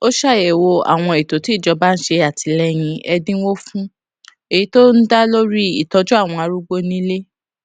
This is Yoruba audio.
ó ṣàyèwò àwọn ètò tí ìjọba ń ṣe àtìléyìn ẹdínwó fún èyí tó ń dá lórí ìtójú àwọn arúgbó nílé